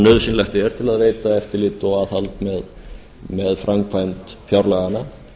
nauðsynlegt er til að veita eftirlit og aðhald með framkvæmd fjárlaganna